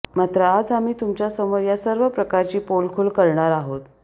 मात्र आज आम्ही तुमच्यासमोर या सर्व प्रकाराची पोलखोल करणार आहोत